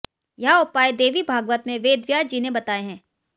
यह उपाय देवी भागवत में वेद व्यास जी ने बताए हैं